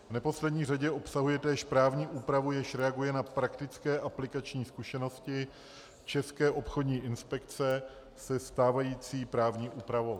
V neposlední řadě obsahuje též právní úpravu, jež reaguje na praktické aplikační zkušenosti České obchodní inspekce se stávající právní úpravou.